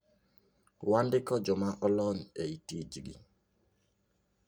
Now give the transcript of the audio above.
Wandiko joma olony ei tijgi.